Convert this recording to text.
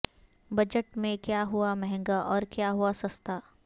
budget میں کیا ہوا مہنگا اور کیا ہوا سستا